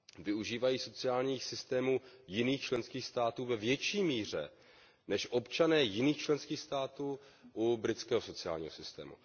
využívají sociálních systémů jiných členských států ve větší míře, než občané jiných členských států využívají britského sociálního systému.